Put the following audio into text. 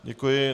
Děkuji.